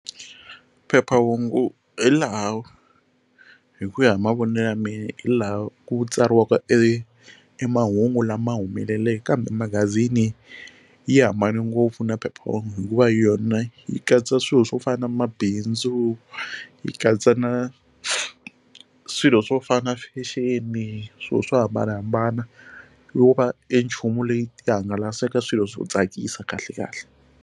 Phephahungu hi laha hi ku ya hi mavonelo ya me hi laha ku tsariwaka e mahungu lama humeleleke kambe magazini yi hambane ngopfu na phephahungu hikuva yona yi katsa swilo swo fana na mabindzu yi katsa na swilo swo fana fexeni swilo swo hambanahambana va e nchumu leyi ti hangalasaka swilo swo tsakisa kahle kahle.